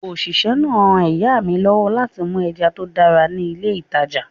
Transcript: Òṣìṣẹ́ náà ran ìyá mi lọ́wọ́ láti mú ẹja tó dára ní ilé ìtàjà.